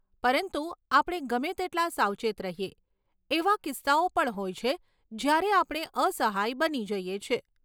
પરંતુ આપણે ગમે તેટલા સાવચેત રહીએ, એવા કિસ્સાઓ પણ હોય છે જ્યારે આપણે અસહાય બની જઈએ છીએ.